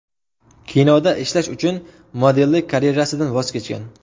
Kinoda ishlash uchun modellik karyerasidan voz kechgan.